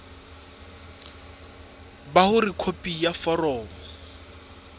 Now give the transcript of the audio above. ba hore khopi ya foromo